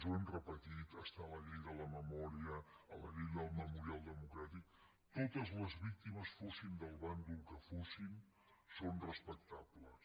ho hem repetit està a la llei de la memòria a la llei del memorial democràtic totes les víctimes fossin del bàndol que fossin són respectables